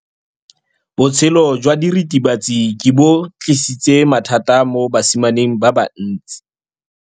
Botshelo jwa diritibatsi ke bo tlisitse mathata mo basimaneng ba bantsi.